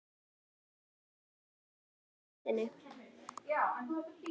Svenni gætir þess að halda ró sinni.